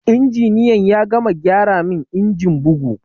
Injiniyan ya gama gyara min injin bugu